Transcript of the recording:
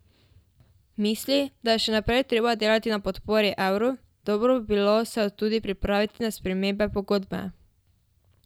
Misli, da je še naprej treba delati na podpori evru, dobro bi se bilo tudi pripraviti na spremembe pogodbe.